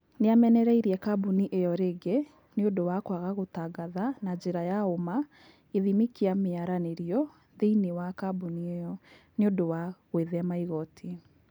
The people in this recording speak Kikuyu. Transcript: Nĩamenareĩrĩe kabunĩ ĩo rĩngĩ nĩ ũndũwa kwaga gũtangatha na njĩra ya ũma gĩthĩmĩ kĩa mĩaranĩrĩo thĩinĩ wa kabunĩ ĩo nĩũndũwa gwĩthema igoti.